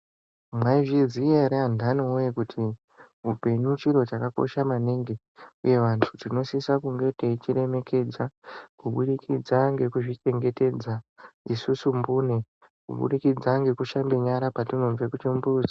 Mwaizviziya ere andani woye kuti upenyu chiro chakakosha maningi uye vantu tinosisa kunge teichiremekedza kubudikidza ngekuzvichengetedza isusu mbune kubudikidza ngekushambe nyara patinobve kuchimbuzi.